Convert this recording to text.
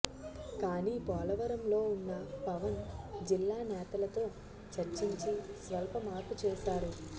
కానీ పోలవరంలో ఉన్న పవన్ జిల్లా నేతలతో చర్చించి స్వల్ప మార్పు చేశారు